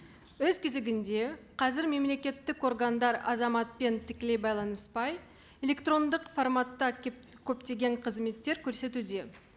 өз кезегінде қазір мемлекеттік органдар азаматпен тікелей байланыспай электрондық форматта көптеген қызметтер көрсетуде